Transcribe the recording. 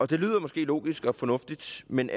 det lyder måske logisk og fornuftigt men